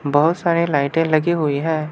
बहोत सारी लाइटे लगी हुई है।